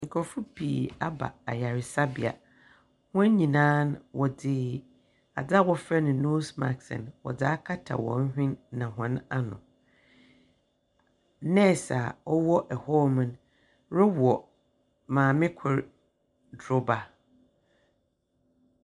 Nkorɔfo pii aba ayaresabea. Wɔn nyinaa wɔdze adeɛ a wɔfrɛ no noos mask no, wɔdze akata wɔn hwen na wɔn ano. Nɛɛs a ɔwɔ ɛhɔɔm rewɔ maame kro droba.